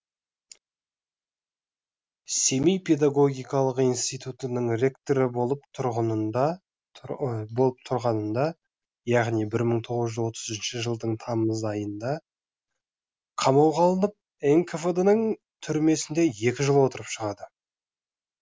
семей педагогикалық институтының ректоры болып тұрғынында болып тұрғынында яғни мың тоғыз жүз отызыншы жылдың тамыз айында қамауға алынып нквд ның түрмесінде екі жыл отырып шығады